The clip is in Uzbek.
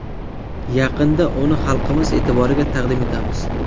Yaqinda uni xalqimiz e’tiboriga taqdim etamiz.